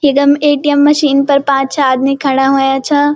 इखम ATM. Machine पर पांच-छे आदमी खड़ा हूया छा।